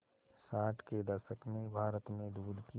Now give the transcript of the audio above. साठ के दशक में भारत में दूध की